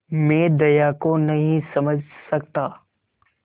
मैं दया को नहीं समझ सकता